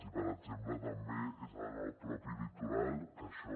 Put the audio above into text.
i per exemple també és en el propi litoral que això